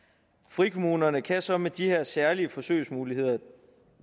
frikommunerne kan så med de her særlige forsøgsmuligheder